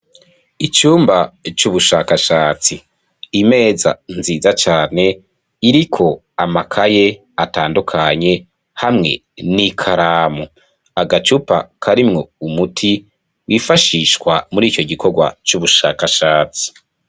Icumba c`ubushashakashatsi imeza nziza cane iriko amakaye atandukanye hamwe n`ikaramu agacupa karimwo umuti wifashishwa murico gikorwa c`ubushashakatsi .